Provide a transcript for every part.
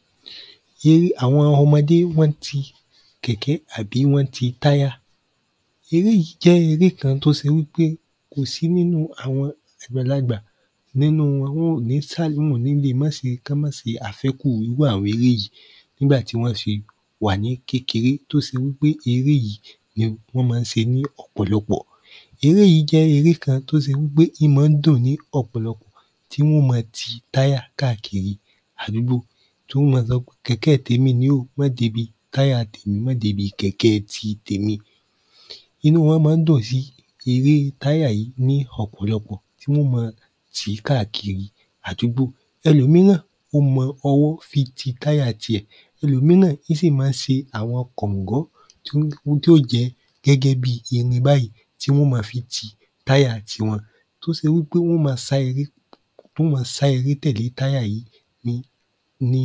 ? eré àwọn ọmọde wọ́n n ti kẹ̀kẹ́ àbí wọ́n n ti táyà eré yí jẹ́ eré kan tó ṣe wípé kò sí nínu àwọn àgbàlagbà nínu awọn ò ní sálímù ní le má ṣe kán má ṣe àfẹ́kù irú àwọn eré yí nígbà tí wọ́n ṣe wà ní kékeré tó ṣe wípé eré yí? wọ́n má n ṣe ní ọ̀pọ̀lọpọ̀ eré yí jẹ́ eré kan tó ṣe wípé í má n dùn ní ọ̀pọ̀lọpọ̀ tí wọn ó ma ti táyà kàkiri àdúgbò tí wọ́n ó ma sọ kẹ̀kẹ́ tèmi ní o má débi táyà má débi kẹ̀kẹ́ ti tèmi inú wọ́n má n dùn si eré táyà yí ní ọ̀pọ̀lọpọ̀ tí wọ́n ó ma tí káàkiri àdúgbò ẹlòmíràn ó mọ ọwọ́ fi ti táyà ti ẹ̀ ẹlòmíràn í sì má n ṣe àwọn kọ̀ngọ́ tí n ohun tí ò jẹ gẹ́gẹ́ bi irin báyìí tí wọ́n ma fi ti táyà tiwọn tó ṣe wípé wọ́n ó má sá eré tí wọ́n ó má sá eré tẹ̀lẹ́ táyà yí ní ní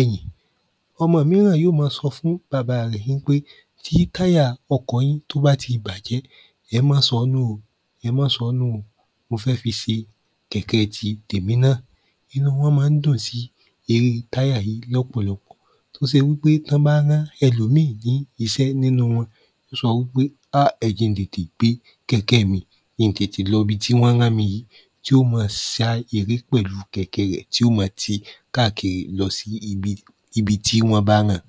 ẹ̀yìn ọmọ míràn yó ma sọ fún baba rẹ̀ npé tí táyà ọkọ̀ yí tó bá ti bàjẹ́ ẹ má sọ́ nù o ẹ má sọ́ nù o mo fẹ́ fi ṣe kẹ̀kẹ́ ti tèmi nà inú wọn má n dùn si eré táyà yí lọ́pọ̀lọpọ̀ tó ṣe wípé tọ́ bá rán ẹlòmí ní iṣẹ́ nínu wọn ó sọ wípé á ẹ jẹ́ n tètè gbé kẹ̀kẹ́ mi kí n tètè lọ ibi tí wọ́n rán mi yí tí ó ma sá eré pẹ̀lú kẹ̀kẹ́ rẹ̀ tí ó ma tí káàkiri lọsí ibi ibi tí wọ́n bá ran